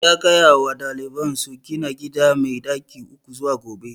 Ya gaya wa daliban sa su gina gida mai ɗaki uku zuwa gobe